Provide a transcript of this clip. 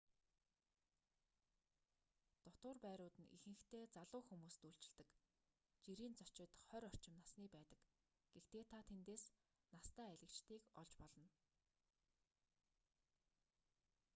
дотуур байрууд нь ихэнхдээ залуу хүмүүст үйлчилдэг жирийн зочид хорь орчим насны байдаг гэхдээ та тэндээс настай аялагчдыг олж болно